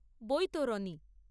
বৈতরণী